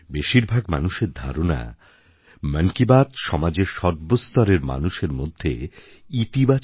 বেশিরভাগ মানুষের ধারণা মন কি বাত সমাজের সর্বস্তরের মানুষের মধ্যে ইতিবাচক